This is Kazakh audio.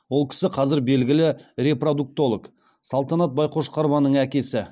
ол кісі қазір белгілі репродуктолог салтанат байқошқарованың әкесі